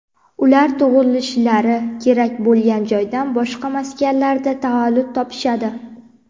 ular tug‘ilishlari kerak bo‘lgan joydan boshqa maskanlarda tavallud topishadi.